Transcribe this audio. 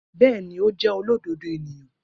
Bẹẹni, o jẹ olododo eniyan.